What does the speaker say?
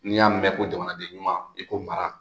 N'i y'a mɛn ko jamanaden ɲuman i ko mara